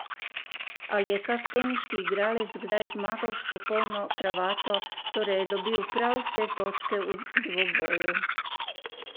Ali je kak teniški igralec kdaj zmagal s popolno kravato, torej je dobil prav vse točke v dvoboju?